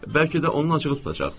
Bəlkə də onun acığı tutacaq.